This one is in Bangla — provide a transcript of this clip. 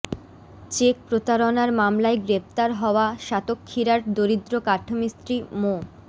চেক প্রতারণার মামলায় গ্রেপ্তার হওয়া সাতক্ষীরার দরিদ্র কাঠমিস্ত্রী মো